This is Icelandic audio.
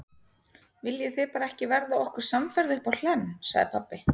Viljið þið bara ekki verða okkur samferða uppá Hlemm, sagði pabbi.